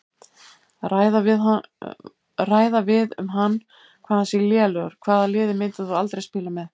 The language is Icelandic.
Ræða við um hann hvað hann sé lélegur Hvaða liði myndir þú aldrei spila með?